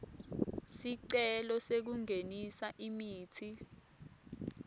sicelo sekungenisa imitsi